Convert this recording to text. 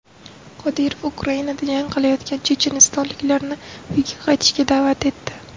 Qodirov Ukrainada jang qilayotgan chechenistonliklarni uyga qaytishga da’vat etdi.